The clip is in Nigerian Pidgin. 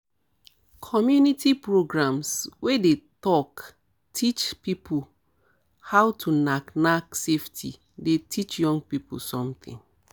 community programs wey dey talk teach about how to knack knack safely dey teach young people something